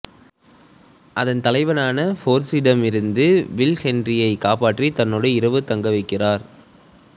அதன் தலைவனான ஃபோர்டிஸிடமிருந்து வில் ஹென்றியை காப்பாற்றி தன்னோட இரவு தங்க வைக்கிறார்